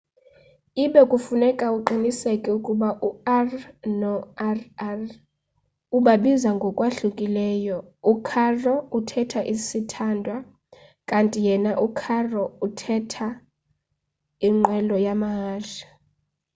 ibe kufuneka uqiniseke ukuba u-r no-rr ubabiza ngokwahlukileyo u-caro uthetha sithandwa kanti yena u-carro uthetha inqwelo yamahashe